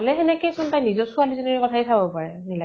সেনেকে চোন নিজৰ ছোৱালী জনীৰ কথা য়ে চাব পাৰে, নিলাক্ষী ।